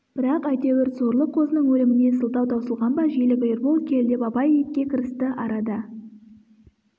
бірақ әйтеуір сорлы қозының өліміне сылтау таусылған ба желік ербол кел деп абай етке кірісті арада